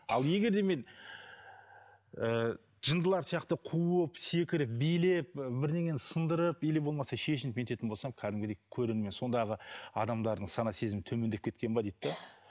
ал егер де мен ііі жындылар сияқты қуып секіріп билеп бірдеңені сындырып или болмаса шешініп бүйтетін болсам кәдімгідей көрермен сондағы адамдардың сана сезімі төмендеп кеткен бе дейді де